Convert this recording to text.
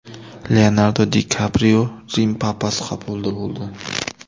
Leonardo Di Kaprio Rim papasi qabulida bo‘ldi.